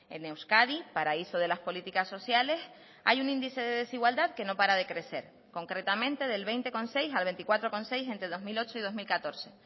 en euskadi paraíso de las políticas sociales hay un índice de desigualdad que no para de crecer concretamente del veinte coma seis al veinticuatro coma seis entre dos mil ocho y dos mil catorce